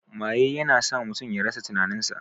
Maye ya na sa mutum ya rasa tinanin sa